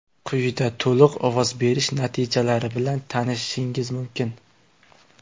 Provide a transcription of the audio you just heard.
Quyida to‘liq ovoz berish natijalari bilan tanishishingiz mumkin.